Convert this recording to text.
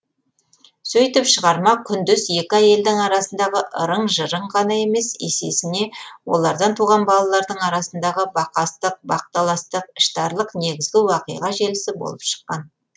сөйтіп шығарма күндес екі әйелдің арасындағы ырың жырың ғана емес есесіне олардан туған балалардың арасындағы бақастық бақталастық іштарлық негізгі уақиға желісі болып шыққан